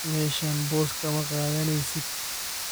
Meshan boss kama kadhaneysidh.